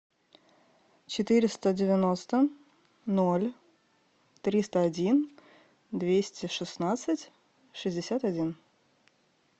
четыреста девяносто ноль триста один двести шестнадцать шестьдесят один